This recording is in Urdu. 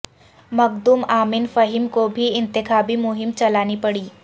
مخدوم امین فہیم کو بھی انتخابی مہم چلانی پڑی